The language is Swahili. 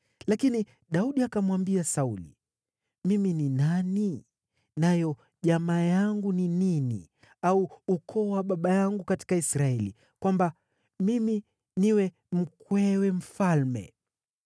Lakini Daudi akamwambia Sauli, “Mimi ni nani, nayo jamaa yangu ni nini au ukoo wa baba yangu katika Israeli, kwamba mimi niwe mkwewe mfalme?”